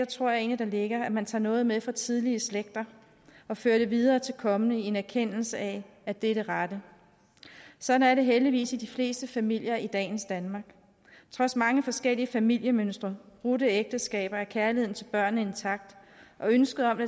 tror jeg egentlig ligger at man tager noget med fra tidligere slægter og fører det videre til kommende slægter i en erkendelse af at det er det rette sådan er det heldigvis i de fleste familier i dagens danmark trods mange forskellige familiemønstre og brudte ægteskaber er kærligheden til børnene intakt og ønsket om at